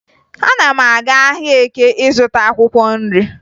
Ana m aga ahịa Eke ịzụta akwụkwọ nri